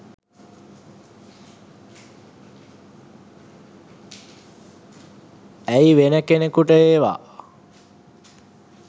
ඇයි වෙන කෙනකුට ඒවා